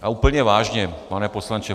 A úplně vážně, pane poslanče.